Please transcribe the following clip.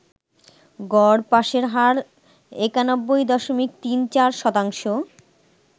গড় পাসের হার ৯১.৩৪ শতাংশ।